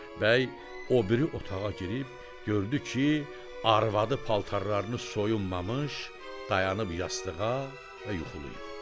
Bəy o biri otağa girib gördü ki, arvadı paltarlarını soyunmamış dayanıb yastığa və yuxulayıb.